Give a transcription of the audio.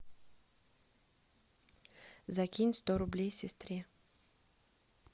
закинь сто рублей сестре